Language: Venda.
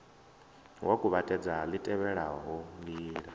wa kuvhatedza li tevhelaho ndila